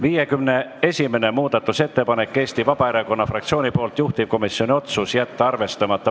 51. muudatusettepanek on Eesti Vabaerakonna fraktsioonilt, juhtivkomisjoni otsus: jätta arvestamata.